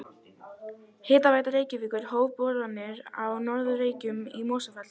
Hitaveita Reykjavíkur hóf boranir á Norður Reykjum í Mosfellsdal.